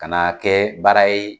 Ka na kɛ baara ye